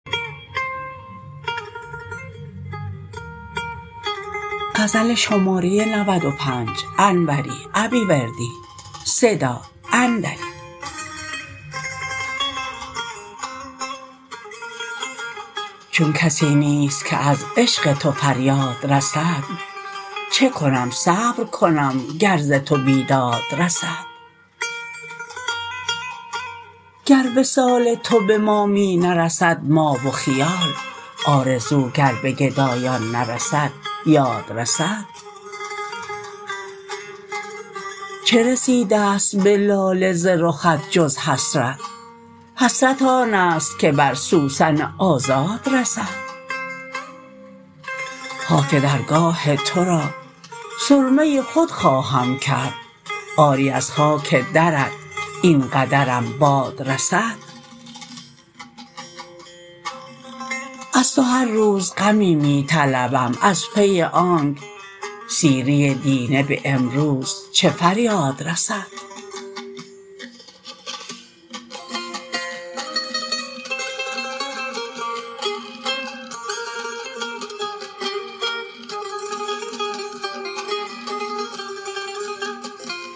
چون کسی نیست که از عشق تو فریاد رسد چه کنم صبر کنم گر ز تو بیداد رسد گر وصال تو به ما می نرسد ما و خیال آرزو گر به گدایان نرسد یاد رسد چه رسیدست به لاله ز رخت جز حسرت حسرت آنست که بر سوسن آزاد رسد خاک درگاه ترا سرمه خود خواهم کرد آری از خاک درت این قدرم باد رسد از تو هر روز غمی می طلبم از پی آنک سیری دینه به امروز چه فریاد رسد